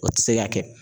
O tɛ se ka kɛ